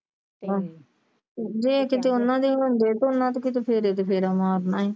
ਤੇ ਆਹੋ ਜੇ ਕੀਤੇ ਓਹਨਾ ਦੇ ਹੁੰਦੇ ਤੇ ਓਹਨਾ ਨੇ ਫੇਰੇ ਤੇ ਫੇਰ ਮਾਰਨਾ ਸੀ।